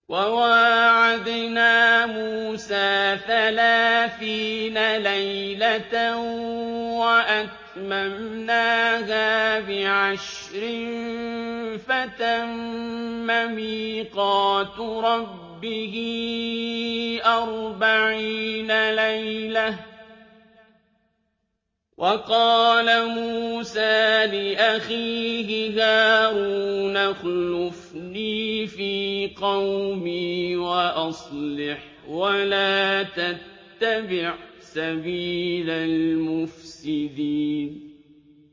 ۞ وَوَاعَدْنَا مُوسَىٰ ثَلَاثِينَ لَيْلَةً وَأَتْمَمْنَاهَا بِعَشْرٍ فَتَمَّ مِيقَاتُ رَبِّهِ أَرْبَعِينَ لَيْلَةً ۚ وَقَالَ مُوسَىٰ لِأَخِيهِ هَارُونَ اخْلُفْنِي فِي قَوْمِي وَأَصْلِحْ وَلَا تَتَّبِعْ سَبِيلَ الْمُفْسِدِينَ